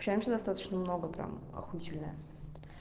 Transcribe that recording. причём достаточно много там ахуительная